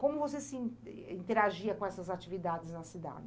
Como você se interagia com essas atividades na cidade?